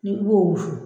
Ni i b'o wusu